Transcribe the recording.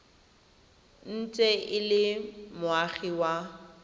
ntse e le moagi wa